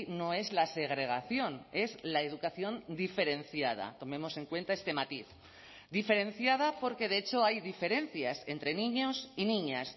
no es la segregación es la educación diferenciada tomemos en cuenta este matiz diferenciada porque de hecho hay diferencias entre niños y niñas